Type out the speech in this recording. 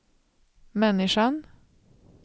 människan